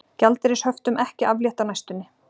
Gjaldeyrishöftum ekki aflétt á næstunni